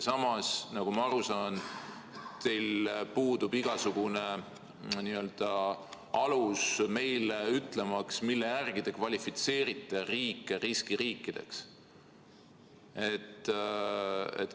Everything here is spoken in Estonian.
Samas, nagu ma aru saan, puudub teil igasugune alus meile ütelda, mille järgi te kvalifitseerite riike riskiriikideks.